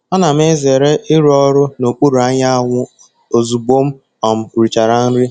Ana m ezere ịrụ ọrụ n'okpuru anyanwụ ozugbo m um richara nri.